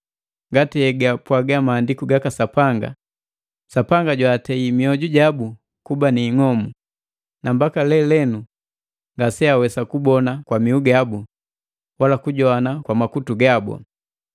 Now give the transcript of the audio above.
ngati hegapwaga Maandiku gaka Sapanga, “Sapanga jwaatei mioju jabu kuba ni ing'omu, na mbaka lelenu ngase awesa kubona kwa miu gabu wala kujogwana kwa makutu gabu.”